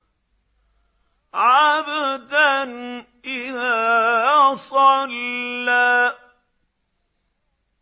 عَبْدًا إِذَا صَلَّىٰ